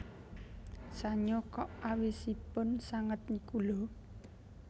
Sanyo kok awisipun sanget niku lho